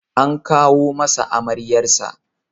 An kawo masa amaryarsa.